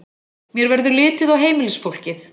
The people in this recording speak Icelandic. Mér verður litið á heimilisfólkið.